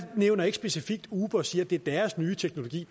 nævner ikke specifikt uber og siger at det er deres nye teknologi